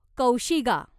कौशिगा